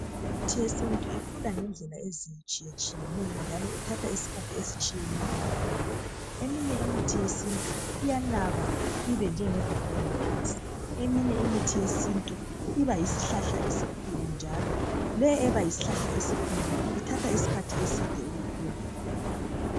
Imithi yesintu ikhula ngendlela ezitshiyeneyo njalo ithatha isikhathi esitshiyeneyo. Eminye imithi yesintu iyanaba ibenjenge bhobola phansi. Eminye imithi yesintu iba yisihlahla esikhulu njalo. Le eba yisihlahla esikhulu ithatha isikhathi eside ukukhula.